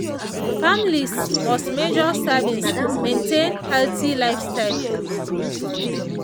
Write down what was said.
families must measure servings maintain healthy lifestyle.